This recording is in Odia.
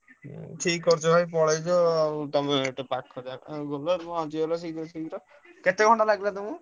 ହୁଁ ଠିକ କରିଛ ଭାଇ ପଳେଇଛ ଆଉ ତମେ ଏତେ ପାଖ କେତେ ଘଣ୍ଟା ଲାଗିଲା ତମକୁ?